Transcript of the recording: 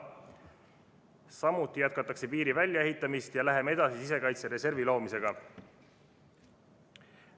Samuti jätkatakse piiri väljaehitamist ja läheme edasi sisekaitsereservi loomisega.